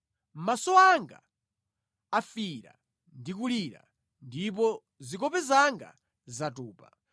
Maso anga afiira ndi kulira, ndipo zikope zanga zatupa;